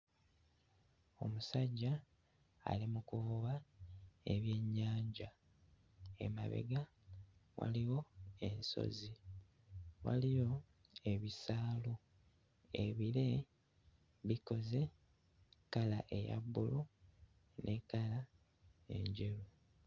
Omusajja ali mu kuvuba ebyennyanja. Emabega waliwo ensozi waliyo ebisaalu. Ebire bikoze kkala eya bbulu ne kkala enjeru.